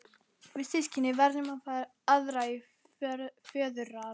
Við systkinin fengum aðra í föðurarf.